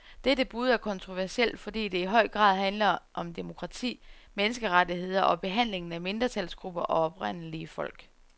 Dette bud er kontroversielt, fordi det i høj grad handler om demokrati, menneskerettigheder og behandlingen af mindretalsgrupper og oprindelige folk.